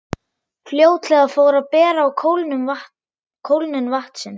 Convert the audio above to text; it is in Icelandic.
Fljótlega fór að bera á kólnun vatnsins.